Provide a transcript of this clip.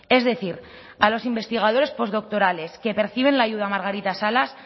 es decir a los investigadores postdoctorales que perciben la ayuda margarita salas